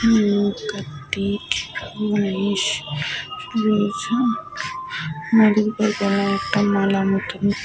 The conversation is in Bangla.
হমম কে সাজানো রয়ে--